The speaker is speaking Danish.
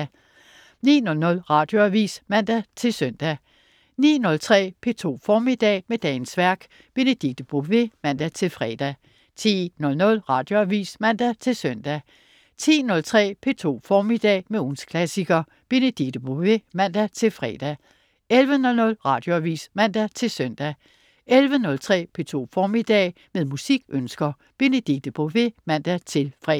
09.00 Radioavis (man-søn) 09.03 P2 Formiddag. Med dagens værk. Benedikte Bové (man-fre) 10.00 Radioavis (man-søn) 10.03 P2 Formiddag. Med ugens klassiker. Benedikte Bové (man-fre) 11.00 Radioavis (man-søn) 11.03 P2 Formiddag. Med musikønsker. Benedikte Bové (man-fre)